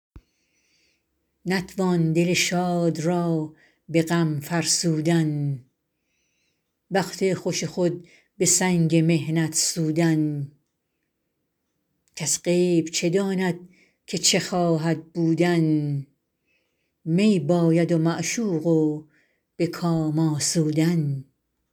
نتوان دل شاد را به غم فرسودن وقت خوش خود به سنگ محنت سودن کس غیب چه داند که چه خواهد بودن می باید و معشوق و به کام آسودن